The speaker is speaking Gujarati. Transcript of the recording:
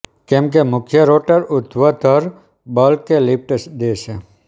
કેમકે મુખ્ય રોટર ઊર્ધ્વધર બલ કે લિફ્ટ દે છે